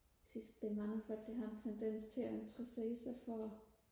jeg synes der er mange folk der har en tendens til og interessere sig for